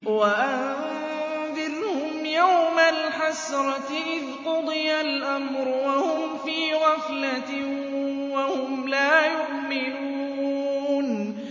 وَأَنذِرْهُمْ يَوْمَ الْحَسْرَةِ إِذْ قُضِيَ الْأَمْرُ وَهُمْ فِي غَفْلَةٍ وَهُمْ لَا يُؤْمِنُونَ